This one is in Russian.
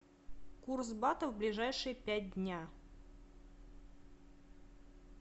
курс бата в ближайшие пять дня